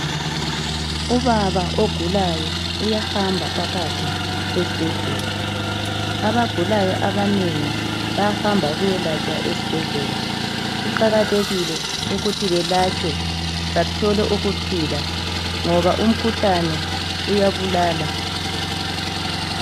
Ubaba ogulayo uyahamba phakathi esibhedlela, abagulayo abanengi bayahamba ukuyelatshwa esibhedlela. Kuqakathekile ukuthi belatshwe bathole ukuphila ngoba umkhuhlane uyabulala.